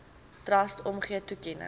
trust omgee toekenning